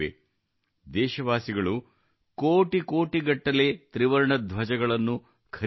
ದೇಶವಾಸಿಗಳು ಕೋಟಿ ಸಂಖ್ಯೆಗಟ್ಟಲೆ ತ್ರಿವರ್ಣ ಧ್ವಜಗಳನ್ನು ಖರೀದಿಸಿದರು